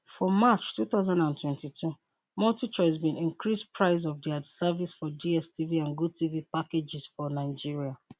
for march twenty twenty two multichoice bin increase price of dia service for dstv and gotv packages for nigeria